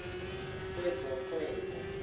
wezohwebo